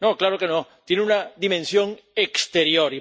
No, claro que no tiene una dimensión exterior.